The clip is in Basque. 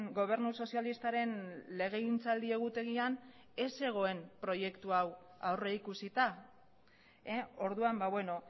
gobernu sozialistaren legegintzaldi egutegian ez zegoen proiektu hau aurrikusita orduan beno